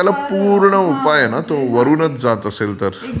त्याला पूर्ण उपाय आहे न तो. वरूनचं जात असेल तर...